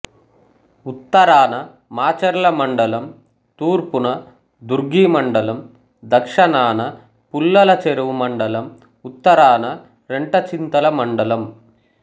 ఉత్తరాన మాచెర్ల మండలం తూర్పున దుర్గి మండలం దక్షణాన పుల్లలచెరువు మండలం ఉత్తరాన రెంటచింతల మండలం